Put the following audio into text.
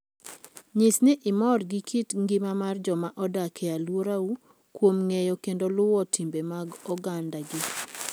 Nyis ni imor gi kit ngima mar joma odak e alworau kuom ng'eyo kendo luwo timbe mag ogandagi.